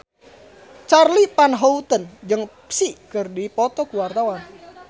Charly Van Houten jeung Psy keur dipoto ku wartawan